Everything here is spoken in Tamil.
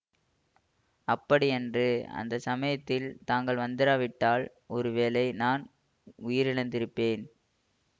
அப்படியன்று அந்த சமயத்தில் தாங்கள் வந்திராவிட்டால் ஒருவேளை நான் உயிரிழந்திருப்பேன்